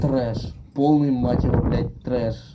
трэш полный мать его блять трэш